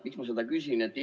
Miks ma seda küsin?